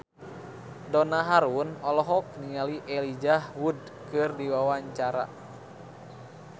Donna Harun olohok ningali Elijah Wood keur diwawancara